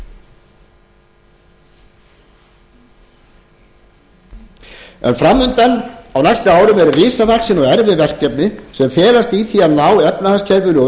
herra forseti fram undan á næsta ári eru risavaxin og erfið verkefni sem felast í því að ná efnahagskerfinu